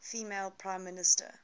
female prime minister